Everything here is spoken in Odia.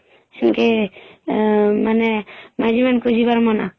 ସିନକେହମ୍ ମାନେ ମାଝୀ ମାନଙ୍କୁ ଯିବାର ମନା